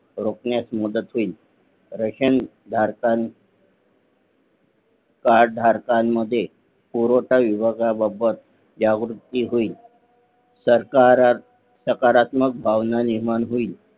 रोकण्यास मदत होईल रेशन धारकां कार्ड धारकांमध्ये पुरवठा विभागा बाबत जागृती होईल सकारात्मक भावना निर्माण होईल